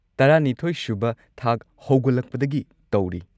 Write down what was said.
꯱꯲ ꯁꯨꯕ ꯊꯥꯛ ꯍꯧꯒꯠꯂꯛꯄꯗꯒꯤ ꯇꯧꯔꯤ꯫